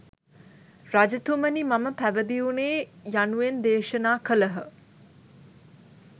රජතුමනි මම පැවිදි වුනේ යනුවෙන් දේශනා කළහ.